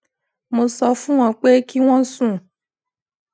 mo sọ fún wọn pé kí wọn sún